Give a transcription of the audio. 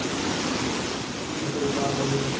কিসে করে যাওয়া হবে